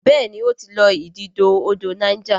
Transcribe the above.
béèni o tí lọ ididò odò Niger.